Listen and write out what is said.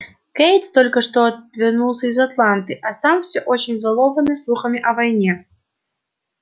кэйд только что вернулся из атланты а сам все очень взволнованы слухами о войне